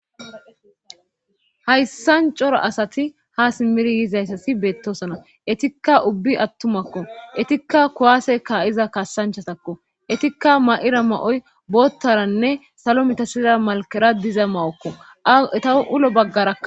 Hayssancora asati ha simmiri yiizayssasi beettosona etikka ubbi attumakko etikka kuwaase ka7iza kassanchatakko etikka ma7ira ma7oy boottaranne salo mitasira malkera diza mawokko aeta ulo baggarakka.